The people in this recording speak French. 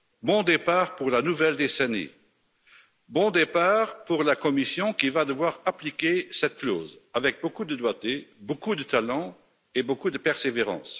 Bon départ pour la nouvelle décennie, bon départ pour la Commission qui va devoir appliquer cette clause avec beaucoup de doigté, beaucoup de talent et beaucoup de persévérance.